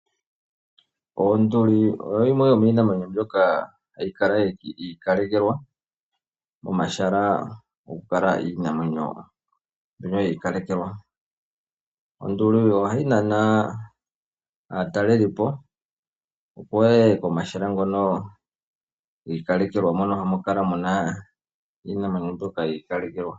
Onduli oyo yimwe yomiinamwenyo mbyoka hayi kala yiikalekelwa momahala gokukala iinamwenyo mbyoka yiikalekelwa . Onduli ohayi nana aatalelipo opo yeye komahala giikalekelwa mono hamu kala iinamwenyo yiikalekelwa.